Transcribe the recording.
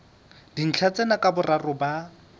dintlha tsena ka boraro ba